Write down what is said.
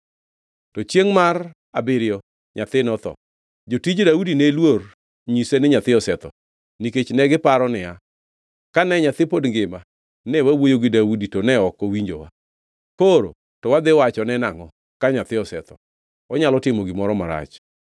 To chiengʼ mar abiriyo nyathi notho, jotij Daudi ne luor nyise ni nyathi osetho, nikech negiparo niya, “Kane nyathi pod ngima, ne wawuoyo gi Daudi to ne ok owinjowa. Koro to wadhi wacho ne nangʼo ka nyathi osetho? Onyalo timo gimoro marach.”